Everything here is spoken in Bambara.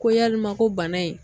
Ko yalima ko bana in